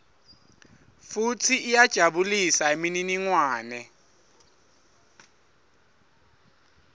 futsi iyajabulisa imininingwane